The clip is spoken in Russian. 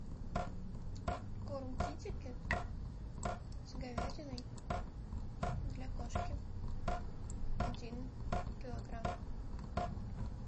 корм китикет с говядиной для кошки один килограмм